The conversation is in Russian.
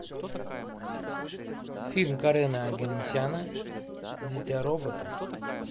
фильм карена оганесяна дитя робота